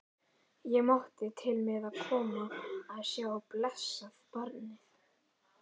Ég mátti til með að koma að sjá blessað barnið.